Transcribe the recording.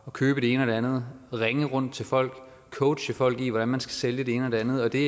købe det ene og det andet ringe rundt til folk coache folk i hvordan man skal sælge det ene og det andet og det